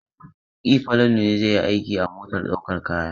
E, Falalu ne zai yi aiki a motar ɗaukar kaya.